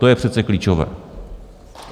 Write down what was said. To je přece klíčové.